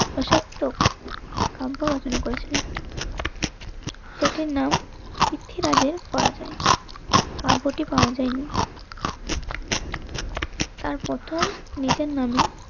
অসত্যক কাব্য রচনা করেছিলেন. যাদের নাম পৃথ্বীরাজের করা যায়. কাব্যটি পাওয়া যায় নি তার প্রথম নিজের নামে